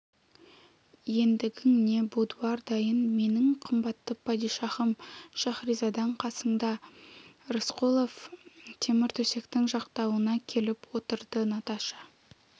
ендігің не будуар дайын менің қымбатты падишаһым шаһризадаң қасында рысқұлов темір төсектің жақтауына келіп отырды наташа